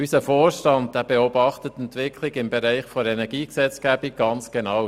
Unser Vorstand beobachtet die Entwicklung im Bereich der Energiegesetzgebung ganz genau.